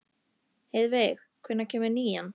Heiðveig, hvenær kemur nían?